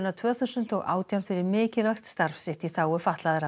tvö þúsund og átján fyrir mikilvægt starf sitt í þágu fatlaðra